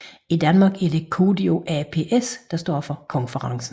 I Danmark er det Codeo ApS der står for konferencen